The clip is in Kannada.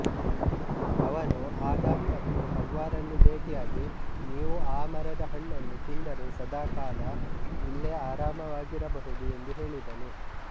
ಅವನು ಆದಮ್ ಮತ್ತು ಹವ್ವಾರನ್ನು ಬೇಟಿಯಾಗಿ ನೀವು ಆ ಮರದ ಹಣ್ಣನ್ನು ತಿಂದರೆ ಸದಕಾಲ ಇಲ್ಲೇ ಆರಾಮವಾಗಿರಬಹುದು ಎಂದು ಹೇಳಿದನು